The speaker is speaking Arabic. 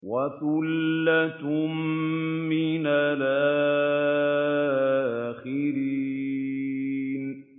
وَثُلَّةٌ مِّنَ الْآخِرِينَ